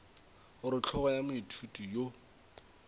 gore hlogo ya moithuti yo